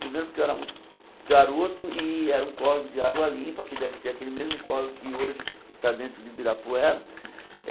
Primeiro porque eu era muito garoto, e era um córrego de água limpa, que deve ser aquele mesmo córrego que hoje está dentro do Ibirapuera.